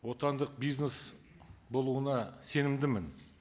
отандық бизнес болуына сенімдімін